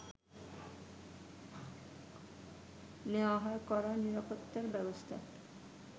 নেয়া হয় কড়া নিরাপত্তা ব্যবস্থা